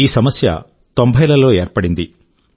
ఈ సమస్య 90లలో ఏర్పడింది